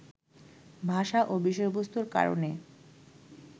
ভাষা ও বিষয়বস্তুর কারণে